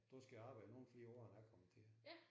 Du skal arbejde nogle flere år end jeg kom til